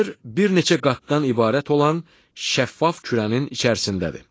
Yer bir neçə qatdan ibarət olan şəffaf kürənin içərisindədir.